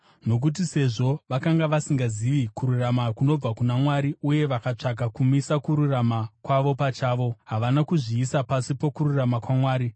Nokuti, sezvo vakanga vasingazivi kururama kunobva kuna Mwari uye vakatsvaka kumisa kururama kwavo pachavo, havana kuzviisa pasi pokururama kwaMwari.